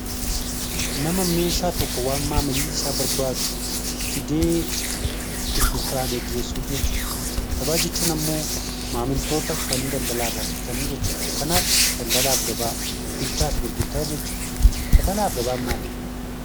Daldaala jechuun nama meeshaa tokko kan maamilli isaa barbaadu fidee gurgurtaa gaggeessu jechuudha. Gabaa jechuun immoo maamiltoota dhufanii Daldaala irraa bitatan jechuudha. Kanaaf Daldaalaa fi gabaa jechuun bittaa fi gurgurtaa jechuudha.